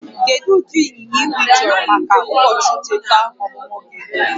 Kedu ụdị ịnyịnya igwe ịchọrọ maka ụbọchị ncheta ọmụmụ gị?